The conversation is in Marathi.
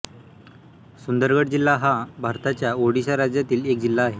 सुंदरगढ जिल्हा हा भारताच्या ओडिशा राज्यातील एक जिल्हा आहे